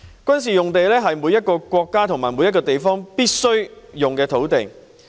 軍事用地是每個國家和地方必須撥備的土地。